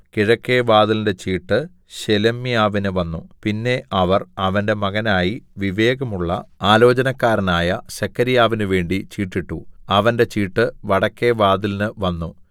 കിഴക്കെ വാതിലിന്റെ ചീട്ട് ശേലെമ്യാവിന് വന്നു പിന്നെ അവർ അവന്റെ മകനായി വിവേകമുള്ള ആലോചനക്കാരനായ സെഖര്യാവിന് വേണ്ടി ചീട്ടിട്ടു അവന്റെ ചീട്ട് വടക്കെ വാതിലിന് വന്നു